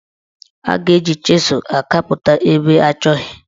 A ga-eji chịzụ akapụta ebe achọghị.